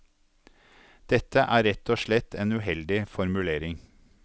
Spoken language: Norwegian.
Dette er rett og slett en uheldig formulering.